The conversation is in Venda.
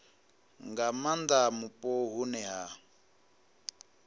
nga maanda mupo hune ha